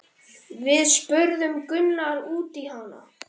Við spurðum Gunnar út í hana?